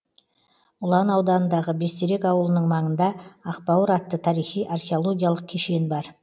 ұлан ауданындағы бестерек ауылының маңында ақбауыр атты тарихи археологиялық кешен бар